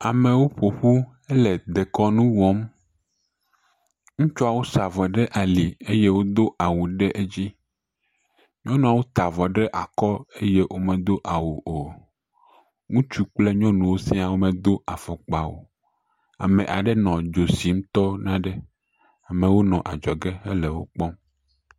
Amewo ƒo ƒu hele dekɔnu wɔm. Ŋutsuawo sa avɔ ɖe ali eye wodo awu ɖe edzi. Nyɔnuwo ta avɔ ɖe akɔ eye womedo awu o. Ŋutsuwo kple nyɔnuwo sia womedo afɔkpa o. Ame aɖe nɔ dzo sim tɔ nane aɖe. Amewo le adzɔge hele wo kpɔm.